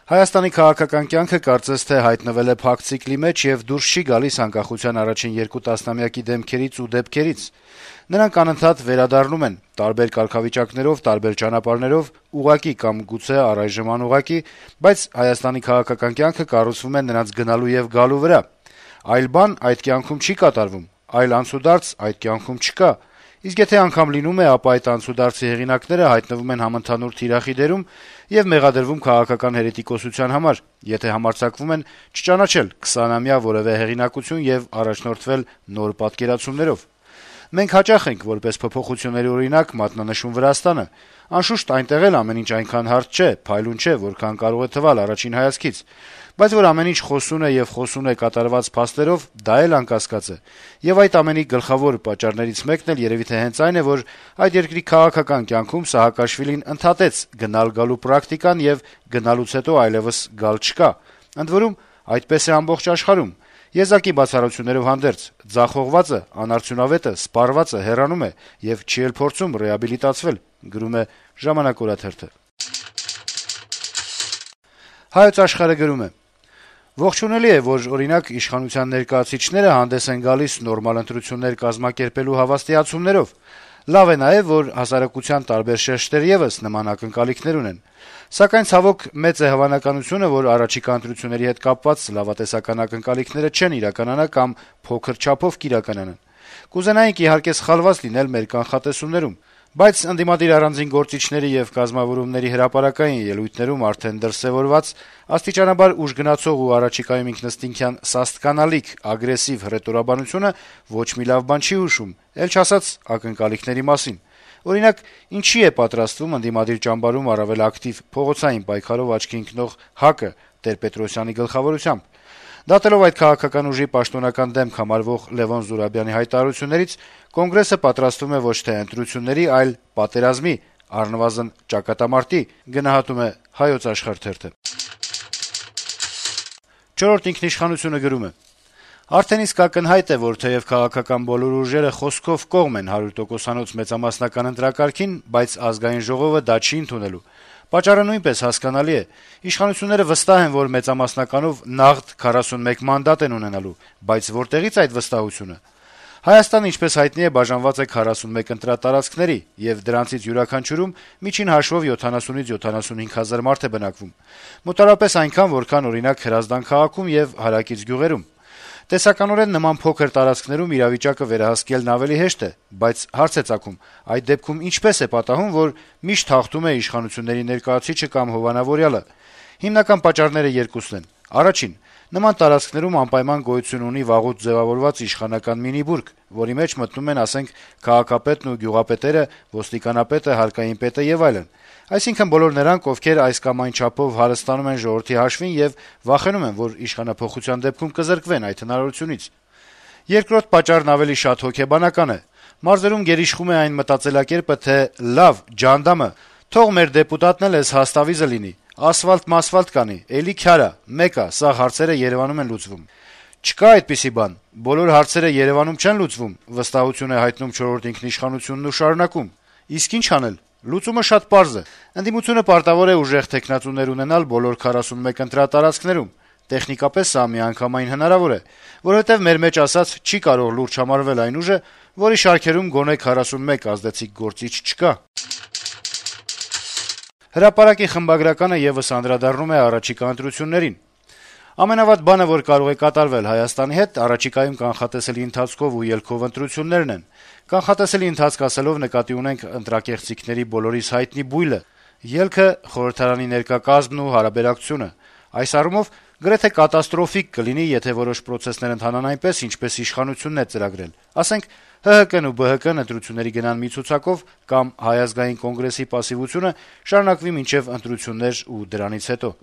«Հայաստանի քաղաքական կյանքը կարծես թե հայտնվել է փակ ցիկլի մեջ եւ դուրս չի գալիս անկախության առաջին երկու տասնամյակի դեմքերից ու դեպքերից: Նրանք անընդհատ վերադառնում են, տարբեր կարգավիճակներով, տարբեր ճանապարհներով, ուղղակի կամ գուցե առայժմ անուղղակի, բայց Հայաստանի քաղաքական կյանքը կառուցվում է նրանց գնալու եւ գալու վրա: Այլ բան այդ կյանքում չի կատարվում, այլ անցուդարձ այդ կյանքում չկա, իսկ եթե անգամ լինում է, ապա այդ անցուդարձի հեղինակները հայտնվում են համընդհանուր թիրախի դերում եւ մեղադրվում քաղաքական հերետիկոսության համար, եթե համարձակվում են չճանաչել «քսանամյա» որեւէ հեղինակություն եւ առաջնորդվել նոր պատկերացումներով: Մենք հաճախ ենք որպես փոփոխությունների օրինակ մատնանշում Վրաստանը: Անշուշտ, այնտեղ էլ ամեն ինչ այնքան հարթ չէ, փայլուն չէ, որքան կարող է թվալ առաջին հայացքից, բայց որ ամեն ինչ խոսուն է եւ խոսուն է կատարված փաստերով, դա էլ անկասկած է: Եվ այդ ամենի գլխավոր պատճառներից մեկն էլ երեւի թե հենց այն է, որ այդ երկրի քաղաքական կյանքում Սաակաշվիլին ընդհատեց գնալ-գալու պրակտիկան եւ գնալուց հետո այլեւս գալ չկա: Ընդ որում, այդպես է ամբողջ աշխարհում, եզակի բացառություններով հանդերձ՝ ձախողվածը, անարդյունավետը, սպառվածը հեռանում է եւ չի էլ փորձում ռեաբիլիտացվել»: «Հայոց Աշխարհ»-ը գրում է. - «Ողջունելի է, անշուշտ, որ, օրինակ, իշխանության ներկայացուցիչները հանդես են գալիս նորմալ ընտրություններ կազմակերպելու հավաստիացումներով: Լավ է նաեւ, որ հասարակության տարբեր շերտեր եւս նման ակնկալիքներ ունեն: Սակայն, ցավոք, մեծ է հավանականությունը, որ առաջիկա ընտրությունների հետ կապված լավատեսական ակնկալիքները չեն իրականանա կամ փոքր չափով կիրականանան։ Կուզենայինք, իհարկե, սխալված լինել մեր կանխատեսումներում, բայց ընդդիմադիր առանձին գործիչների եւ կազմավորումների հրապարակային ելույթներում արդեն դրսեւորված, աստիճանաբար ուժգնացող ու առաջիկայում ինքնըստինքյան սաստկանալիք ագրեսիվ հռետորաբանությունը ոչ մի լավ բան չի հուշում, էլ չասած ակնկալիքների մասին։ Օրինակ, ինչի՞ է պատրաստվում ընդդիմադիր ճամբարում առավել ակտիվ «փողոցային պայքարով» աչքի ընկնող ՀԱԿ-ը` Տեր-Պետրոսյանի գլխավորությամբ։ Դատելով այդ քաղաքական ուժի պաշտոնական դեմք համարվող Լեւոն Զուրաբյանի հայտարարություններից` կոնգրեսը պատրաստվում է ոչ թե ընտրությունների, այլ... պատերազմի, առնվազն՝ ճակատամարտի»։ «Չորրորդ ինքնիշխանություն»-ը գրում է. - «Արդեն իսկ ակնհայտ է, որ թեեւ քաղաքական բոլոր ուժերը խոսքով կողմ են հարյուր տոկոսանոց մեծամասնական ընտրակարգին, բայց Ազգային ժողովը դա չի ընդունելու: Պատճառը նույնպես հասկանալի է. իշխանությունները վստահ են, որ մենամասնականով «նաղդ» 41 մանդատ են ունենալու: Բայց որտեղի՞ց այդ վստահությունը: Հայաստանը, ինչպես հայտնի է, բաժանված է 41 ընտրատարածքների, եւ դրանցից յուրաքանչյուրում միջին հաշվով 70-75 հազար մարդ է բնակվում: Մոտավորապես այնքան, որքան, օրինակ, Հրազդան քաղաքում եւ հարակից գյուղերում: Տեսականորեն նման փոքր տարածքներում իրավիճակը վերահսկելն ավելի հեշտ է, բայց հարց է ծագում` այդ դեպքում ինչպե՞ս է պատահում, որ միշտ «հաղթում է» իշխանությունների ներկայացուցիչը կամ հովանավորյալը: Հիմնական պատճառները երկուսն են: Առաջին. նման տարածքներում անպայման գոյություն ունի վաղուց ձեւավորված իշխանական մինի-բուրգ, որի մեջ մտնում են, ասենք, քաղաքապետն եւ գյուղապետերը, ոստիկանապետը, հարկայինի պետը եւ այլն: Այսինքն` բոլոր նրանք, ովքեր այս կամ այն չափով հարստանում են ժողովրդի հաշվին եւ վախենում են, որ իշխանափոխության դեպքում կզրկվեն այդ հնարավորությունից: Երկրորդ պատճառն ավելի շատ հոգեբանական է: Մարզերում գերիշխում է այն մտածելակերպը, թե «լավ, ջհանդամը, թող մեր դեպուտատն էլ էս հաստավիզը լինի, ասֆալտ-մասվալտ կանի` էլի քյար ա, մեկ ա` սաղ հարցերը Երեւանում են լուծվում»: «Չկա' այդպիսի բան, բոլոր հարցերը Երեւանում չեն լուծվում», - վստահություն է հայտնում թերթը եւ շարունակում. - «Իսկ ի՞նչ անել: Լուծումը շատ պարզ է, ընդդիմությունը պարտավոր է ուժեղ թեկնածուներ ունենալ բոլոր 41 ընտրատարածքներում: Տեխնիկապես սա միանգամայն հնարավոր է, որովհետեւ, մեր մեջ ասած, չի կարող լուրջ համարվել այն ուժը, որի շարքերում գոնե 41 ազդեցիկ գործիչ չկա»: «Հրապարակ»-ի խմբագրականը եւս անդրադառնում է առաջիկա ընտրություններին. - «Ամենավատ բանը, որ կարող է կատարվել Հայաստանի հետ, առաջիկայում կանխատեսելի ընթացքով ու ելքով ընտրություններն են: Կանխատեսելի ընթացք ասելով՝ նկատի ունեմ ընտրակեղծիքների բոլորիս հայտնի բույլը, ելքը՝ խորհրդարանի ներկա կազմն ու հարաբերակցությունը: Այս առումով գրեթե կատաստրոֆիկ կլինի, եթե որոշ պրոցեսներ ընթանան այնպես, ինչպես իշխանությունն է ծրագրել: Ասենք՝ ՀՀԿ-ն ու ԲՀԿ-ն ընտրությունների գնան մի ցուցակով: Կամ՝ Հայ ազգային կոնգրեսի պասիվությունը շարունակվի մինչեւ ընտրություններ ու դրանից հետո»: